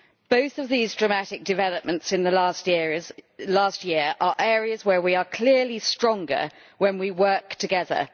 Both of these dramatic developments in the last year are areas where we are clearly stronger when we work together.